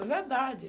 É verdade.